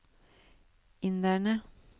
inderne